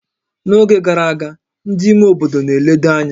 N'oge gara aga, ndị ime obodo na-eledo anya